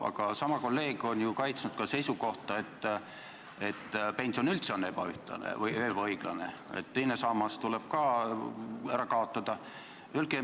Aga sama kolleeg on ju kaitsnud seisukohta, et pension on üldse ebaõiglane ja teine sammas tuleb ka ära kaotada.